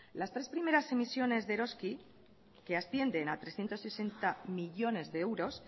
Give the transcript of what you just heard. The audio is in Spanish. las tres primeras emisiones de eroski que ascienden a trescientos sesenta millónes de euros